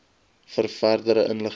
vir verdere inligting